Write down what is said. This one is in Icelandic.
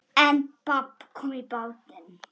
En babb kom í bátinn.